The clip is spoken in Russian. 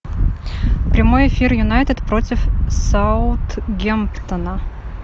прямой эфир юнайтед против саутгемптона